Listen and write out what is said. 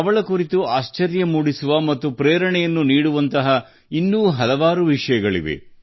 ಅವಳ ಕುರಿತು ಆಶ್ಚರ್ಯ ಮೂಡಿಸುವ ಮತ್ತು ಪ್ರೇರಣೆಯನ್ನು ನೀಡುವಂತಹ ಇನ್ನೂ ಇಂಥ ಹಲವಾರು ವಿಷಯಗಳಿವೆ